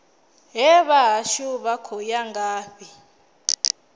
hee vhahashu vha khou ya ngafhi